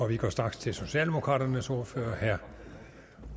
vi går straks til socialdemokraternes ordfører herre